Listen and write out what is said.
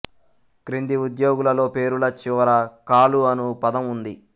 క్రింది ఉద్యోగులలో పేరుల చివర కాలు అను పదము ఉంది